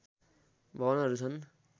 भवनहरू छन्